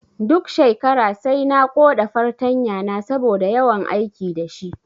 Duk shekara sai na koɗa fartanya na saboda yawan aiki dashi